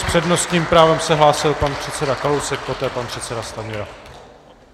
S přednostním právem se hlásil pan předseda Kalousek, poté pan předseda Stanjura.